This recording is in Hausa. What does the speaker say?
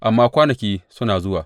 Amma kwanaki suna zuwa,